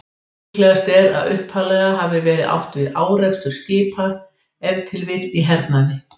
Líklegast er að upphaflega hafi verið átt við árekstur skipa, ef til vill í hernaði.